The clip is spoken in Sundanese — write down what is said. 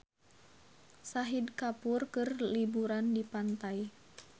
Shahid Kapoor keur liburan di pantai